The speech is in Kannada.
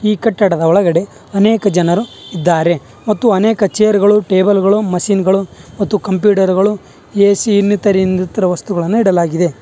ಈ ಕಟ್ಟಡದ ಒಳಗಡೆ ಅನೇಕ ಜನರು ಇದ್ದಾರೆ ಮತ್ತು ಅನೇಕ ಚೇರ್ ಗಳು ಟೇಬಲ್ ಗಳು ಮಷೀನ್ ಗಳು ಮತ್ತು ಕಂಪ್ಯೂಟರ್ ಗಳು ಎ_ಸಿ ಇನ್ನಿತರ ಇನ್ನಿತರ ವಸ್ತುಗಳನ್ನ ಇಡಲಾಗಿದೆ.